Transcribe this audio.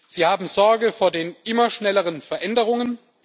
Sie haben Sorge vor den immer schnelleren Veränderungen.